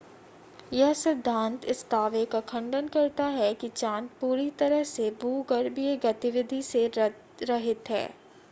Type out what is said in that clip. यह सिद्धांत इस दावे का खंडन करता है कि चांद पूरी तरह से भूगर्भीय गतिविधि से रहित है